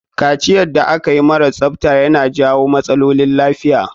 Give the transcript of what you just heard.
Kaciyar da akayi mara tsafta ya na jawo matsaolin lafiya.